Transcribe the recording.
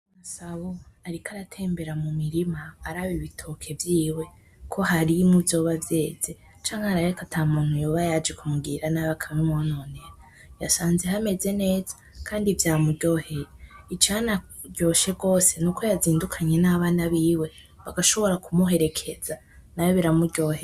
Masabo ariko aratembera mumirima araba ibitoke vyiwe ko harimwo ivyoba vyeze canke arabe ko atamuntu yoba yaje kumugirira nabi akamwononera. Yasanze hameze neza kandi vyamuryoheye. Icanaryoshe rwose nuko yazindukanye nabana biwe bagashobora kumuherekeza nawe biramuryohera.